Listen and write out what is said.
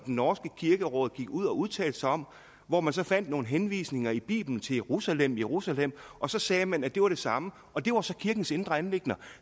norske kirkeråd gik ud og udtalte sig om hvor man så fandt nogle henvisninger i bibelen til jerusalem jerusalem og så sagde man at det var det samme og det var så kirkens indre anliggender